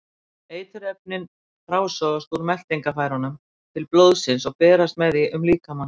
Eiturefnin frásogast úr meltingarfærunum til blóðsins og berast með því um líkamann.